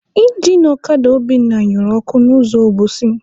Injin ọkada Obinna nyụrụ ọkụ n'ụzọ Obosi.